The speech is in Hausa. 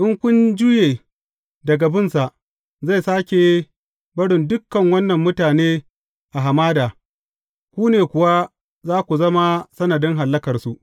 In kun juye daga binsa, zai sāke barin dukan wannan mutane a hamada, ku ne kuwa za ku zama sanadin hallakarsu.